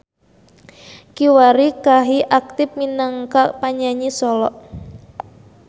Kiwari Kahi aktif minangka panyanyi solo.